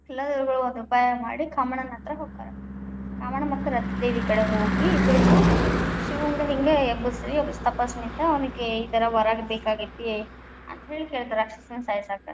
ಎಲ್ಲಾ ದೇವ್ರಗುಳು ಒಂದು ಉಪಾಯ ಮಾಡಿ ಕಾಮಣ್ಣನ ಹತ್ರ ಹೊಕ್ಕಾರ ಕಾಮಣ್ಣ ಮತ್ತು ರತಿದೇವಿ ಕಡೆ ಹೋಗಿ, ಇಬ್ಬರಗು ಶಿವಂಗ ಹಿಂಗ ಎಬ್ಬಿಸ್ರಿ, ತಪಸ್ ನಿಂತ ಅವನಿಗೆ ಈ ತರ ವರ ಬೇಕಾಗೇತಿ ಅಂತ ಹೇಳಿ ಕೇಳ್ತಾರ ರಾಕ್ಷಸನ್ ಸಾಯಿಸಾಕ್.‌